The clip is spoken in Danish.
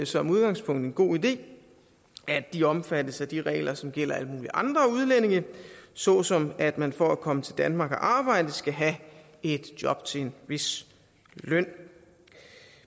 som udgangspunkt en god idé at de omfattes af de regler som gælder alle mulige andre udlændinge såsom at man for at komme til danmark og arbejde skal have et job til en vis løn